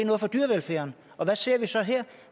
noget for dyrevelfærden og hvad ser vi så her